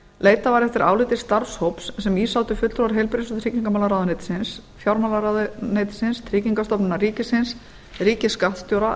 leitað var eftir áliti starfshóps sem í sátu fulltrúar heilbrigðis og tryggingamálaráðuneytisins fjármálaráðuneytisins tryggingastofnunar ríkisins ríkisskattstjóra